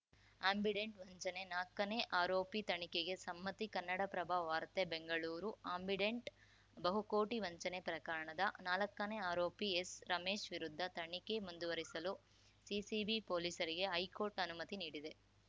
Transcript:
Ambidant ವಂಚನೆ ನಾಕನೇ ಆರೋಪಿ ತನಿಖೆಗೆ ಸಮ್ಮತಿ ಕನ್ನಡಪ್ರಭ ವಾರ್ತೆ ಬೆಂಗಳೂರು ಆಂಬಿಡೆಂಟ್‌ ಬಹುಕೋಟಿ ವಂಚನೆ ಪ್ರಕರಣದ ನಾಲ್ಕನೇ ಆರೋಪಿ ಎಸ್‌ರಮೇಶ್‌ ವಿರುದ್ಧ ತನಿಖೆ ಮುಂದುವರಿಸಲು ಸಿಸಿಬಿ ಪೊಲೀಸರಿಗೆ ಹೈಕೋರ್ಟ್‌ ಅನುಮತಿ ನೀಡಿದೆ